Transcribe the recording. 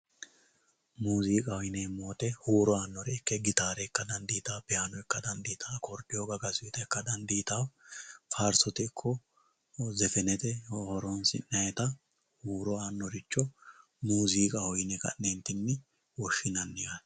muziiqaho yineemmo woyite huuro aannore ikke gitaare ikka dandiitawo piyaano ikka dandiitawo akkordiyo gagasuyita ikka dandiitawo faarsote ikko zefenete horonsi'nayiita huuro aannoricho muziiqaho yine ka'neentinni woshshinayi yaate